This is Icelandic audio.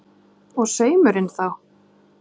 Og saumurinn þá?